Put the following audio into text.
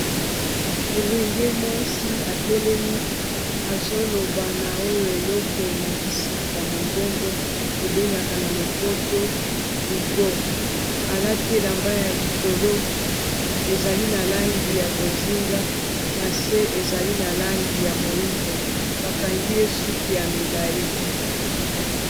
Elenge mwasi atelemi azoloba na oyo eloko ematisaka mongongo tobengaka na lopoto micro alati elamba ya likolo ezali na langi ya bozinga na se ezali na langi ya moyindo bakangi ye suki ya milayi.